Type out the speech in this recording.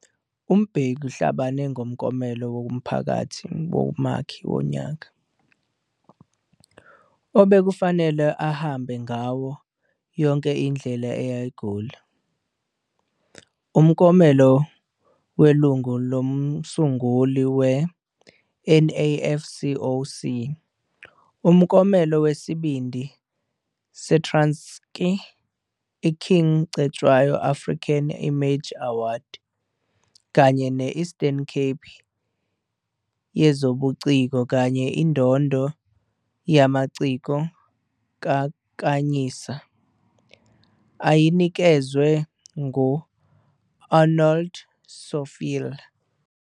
UMbeki uhlabane ngomklomelo woMphakathi Womakhi Wonyaka, obekufanele ahambe ngawo "yonke indlela eya eGoli", umklomelo welungu lomsunguli we-NAFCOC, umklomelo wesibindi seTranskei, i-King Cetshwayo African Image Award, kanye ne-Eastern Cape yezobuciko kanye indondo yamasiko kaKhanyisa, ayinikezwe ngu- Arnold Stofile.